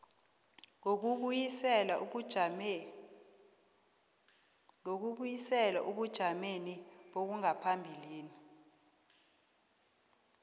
yokubuyisela ebujameni bangaphambilini